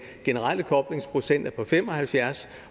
generelle koblingsprocent er på fem og halvfjerds